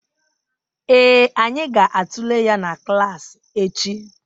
Ee, anyị ga-atụle ya na klas echi